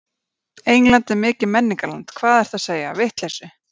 England er mikið menningarland, hvað ertu að segja, vitleysu.